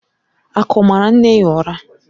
Aku maara nne ya ụra.